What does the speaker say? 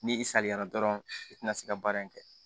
Ni i saliyara dɔrɔn i tina se ka baara in kɛ